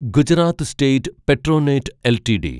Gujarat state Petronet LTD